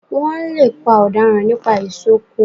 Wọ́n lè pa ọ̀daràn nípa ìsokọ́